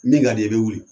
Min ka di i bɛ wuli